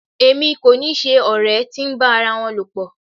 Èmi kò ni ṣe ọ̀rẹ́ tí ń bá ara wọn lọ̀pọ̀.